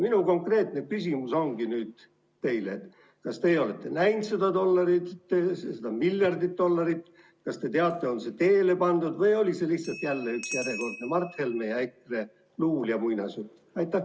Minu konkreetne küsimus ongi teile: kas teie olete näinud seda miljardit dollarit, kas te teate, on see teele pandud, või oli see lihtsalt jälle üks järjekordne Mart Helme ja EKRE luul ja muinasjutt?